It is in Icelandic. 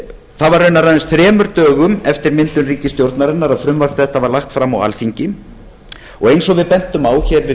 var raunar aðeins þremur dögum eftir myndun ríkisstjórnarinnar að frumvarp þetta var lagt fram á alþingi og eins og við bentum á hér við